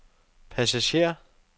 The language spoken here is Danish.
passager